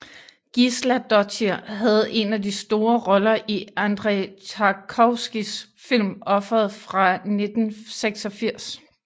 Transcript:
Gísladóttir havde en af de store roller i Andrej Tarkovskijs film Offeret fra 1986